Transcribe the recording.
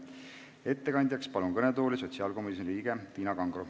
Ettekandeks palun kõnetooli sotsiaalkomisjoni liikme Tiina Kangro.